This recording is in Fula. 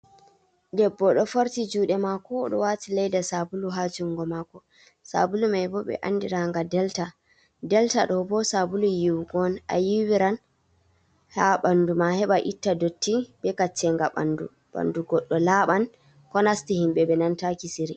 Debbo do forti juude mako, oɗo wati leda Sabulu ha jungo mako. Sabulu mai bo ɓe andiranga Delta. Delta ɗo bo Sabulu yiwugo'on ayiwiran ha ɓandu ma heɓa itta dotti be Kaccenga ɓandu. Ɓandu godɗo laɓan ko nasti himɓe ɓe nanata kisiri.